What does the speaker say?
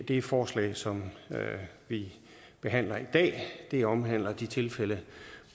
det forslag som vi behandler i dag omhandler de tilfælde